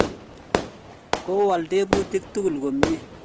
ko wol tebutik tugul komie